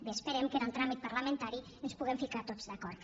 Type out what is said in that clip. bé esperem que en el tràmit parlamentari ens puguem ficar tots d’acord